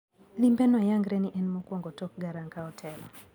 limbeno yangre ni en mokwongo tok Garang kao telo.